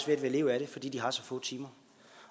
ved at leve af det fordi man har så få timer